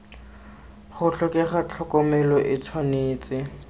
go tlhokega tlhokomelo e tshwanetse